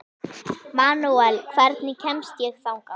Manuel, hvernig kemst ég þangað?